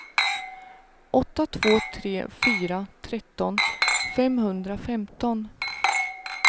åtta två tre fyra tretton femhundrafemton